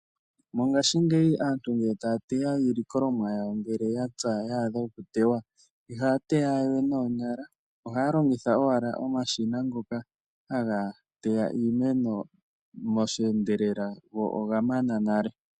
Mongashingeyi aantu ngele taya teya iilikolomwa yawo ngele ya pya, ya adha okuteywa, ihaya teya we noonyala. Ohaya longitha owala omashina ngoka haga teya iimeno mo shi endelela go oga mana nale.